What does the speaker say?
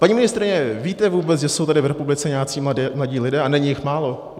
Paní ministryně, víte vůbec, že jsou tady v republice nějací mladí lidé a není jich málo?